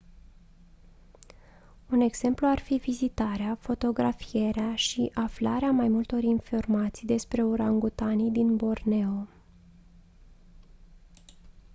un exemplu ar fi vizitarea fotografierea și aflarea mai multor informații despre urangutanii din borneo